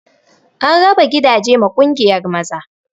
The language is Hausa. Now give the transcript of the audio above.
An raba gidaje ma ƙungiyar maza